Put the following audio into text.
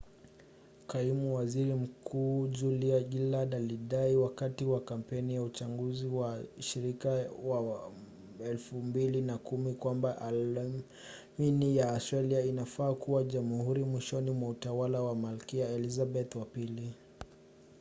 kaimu waziri mkuu julia gillard alidai wakati wa kampeni ya uchaguzi wa ushirika wa 2010 kwamba aliamini australia inafaa kuwa jamhuri mwishoni mwa utawala wa malkia elizabeth ii